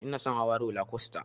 Inason hawa rola kwasta